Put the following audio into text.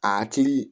A hakili